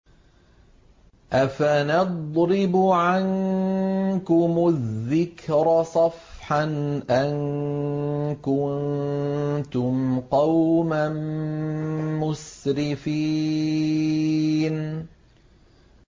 أَفَنَضْرِبُ عَنكُمُ الذِّكْرَ صَفْحًا أَن كُنتُمْ قَوْمًا مُّسْرِفِينَ